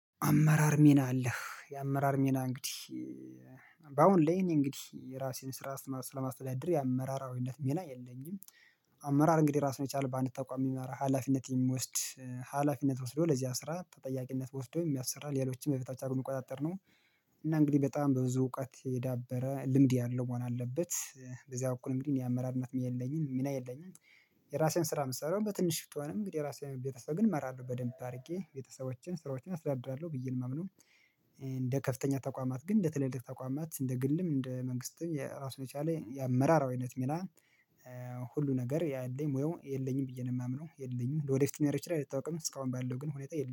አመራር ሚና አለህ የአመራር ሚና እንግዲህ በአሁን ላይ ይሄን እንግዲህ የራሴን ስራ ስለማስተዳደር የአመራራዊነት ሜና የለኝም። አመራር እንግዲህ ራሱን የቻለ በአንድ ተቁአም የሚመራ ሀላፊነት የሚወስድ ሀላፊነት ወስዶ ለዚህ አስራ ተጠያቂነት ወስዶ የሚያሰራ ሌሎችን በበታች አድርጎ የሚቆጣጠር ነው። እና እንግዲህ በጣም በብዙ እውቀት የዳበረ ልምድ ያለው መሆን አለበት በዚያ በኩል እንግዲህ እኔ አመራርነት የለኝም ሚና የለኝም። የራሴን ስራ የምሰራው በትንሽ ብትሆንም እንግዲህ የራሴን ቤተሰብ ግን እመራለሁ በደንብ አድርጌ ቤተሰቦቼን ስራዎቼን አስተዳድራለሁ ብዬ ነው ማምነው። እንደ ከፍተኛ ተቋማት ግን እንደ ትልልቅ ተቋማት እንደ ግልም እንደ መንግስትም ራሱን የቻለ የአመራራዊነት ሚና ሁሉ ነገር ያለኝ ወይም የለኝም ብዬ ነው የማምነው የለኝም። ለወደፊት ሊኖረኝ ይችላል አይታወቅም እስካሁን ባለው ግን ሁኔታ የለኝም